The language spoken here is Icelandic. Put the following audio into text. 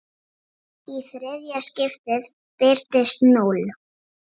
Í þriðja skiptið birtist núll.